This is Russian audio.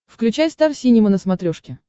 включай стар синема на смотрешке